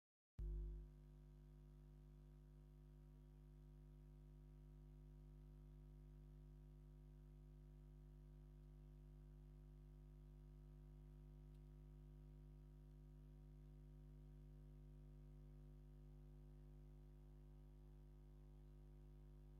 ህያው ትርኢት! እተን ደቂ ኣንስትዮ ፍሽኽ እናበለን ብሓጎስ የጣቕዓን ኣለዋ! እቲ ሃዋህው ኣዝዩ ህያውን ዘዘናግዕን ፣ድሙቕ ኣከዳድና! ኩሎም ባህላዊ ክዳውንቲ ኢትዮጵያ (ክዳን ሓበሻ) ተኸዲኖም ኣለዉ።